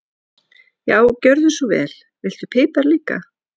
Já, gjörðu svo vel. Viltu pipar líka?